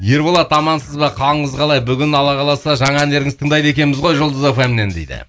ерболат амансыз ба қалыңыз қалай бүгін алла қаласа жаңа әндеріңізді тыңдайды екенбіз ғой жұлдыз эф эм нен дейді